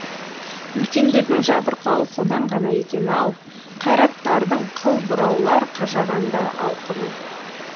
үлкендердің жабырқауы содан ғана екен ау қайраттардың қыл бұраулар қажағанда алқымын